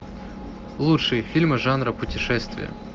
лучшие фильмы жанра путешествия